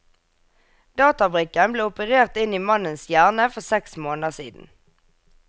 Databrikken ble operert inn i mannens hjerne for seks måneder siden.